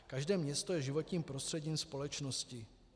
Každé město je životním prostředím společnosti.